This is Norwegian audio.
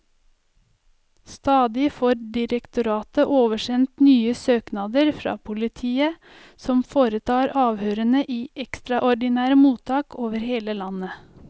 Stadig får direktoratet oversendt nye søknader fra politiet, som foretar avhørene i ekstraordinære mottak over hele landet.